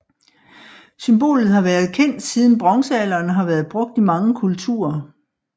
Symbolet har været kendt siden bronzealderen og har været brugt i mange kulturer